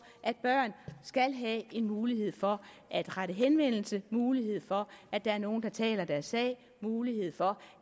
at børn skal have mulighed for at rette henvendelse til mulighed for at der er nogen der taler deres sag mulighed for